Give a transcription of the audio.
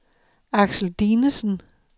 Aksel Dinesen